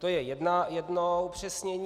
To je jedno upřesnění.